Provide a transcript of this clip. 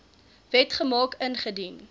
wet gemaak ingedien